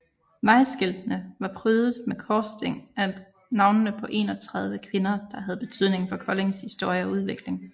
Vejskiltene var prydet med korsting af navnene på 31 kvinder der havde betydning for Koldings historie og udvikling